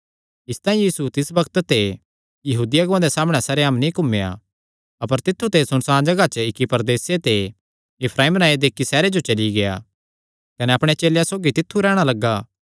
इसतांई यीशु तिस बग्त ते यहूदी अगुआं दे सामणै सरेआम नीं घुमेया अपर तित्थु ते सुनसाण जगाह दे इक्की प्रदेसे दे इफ्राईम नांऐ दे इक्की सैहरे जो चली गेआ कने अपणे चेलेयां सौगी तित्थु रैहणा लग्गा